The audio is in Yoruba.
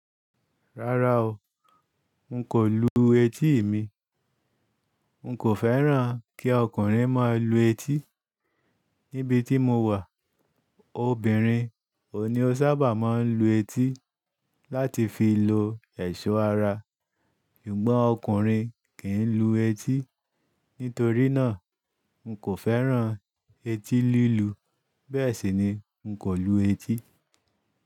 Rárá o, n kò lu etí mi. N kò fẹ́ràn kí ọkùnrin máa lu etí. Níbi tí mo wà obìnrin ò ní ó sábà máa ń lu etí láti fi lo ẹ̀ṣọ́ ara. Ṣùgbọ́n ọkùnrin kì í lu etí. Nítorí náà n kò fẹ́ràn etí lílu. Bẹ́ẹ̀ sì ni n kò lu etí.